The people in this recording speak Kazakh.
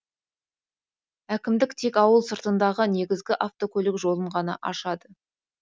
әкімдік тек ауыл сыртындағы негізгі автокөлік жолын ғана ашады